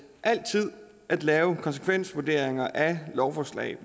altid at lave konsekvensvurderinger af lovforslag